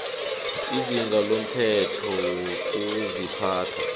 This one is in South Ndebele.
izinga lomthetho wokuziphatha